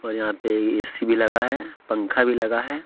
और यहाँ पे ए_सी भी लगा है पंखा भी लगा है।